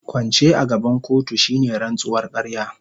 Kwance a gaban kotu shine rantsuwar ƙarya.